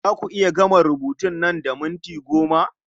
Za a ku iya gama rubutun nan da minti goma?